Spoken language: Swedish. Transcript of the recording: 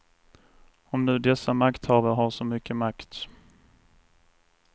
Om nu dessa makthavare har så mycket makt.